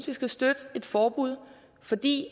vi skal støtte et forbud fordi